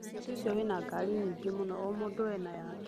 Mciĩ cio wĩna ngari nyingĩ mũno o mũndũ ena yake.